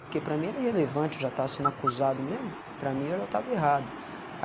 Porque para mim era relevante, eu já estava sendo acusado mesmo, para mim eu já estava errado.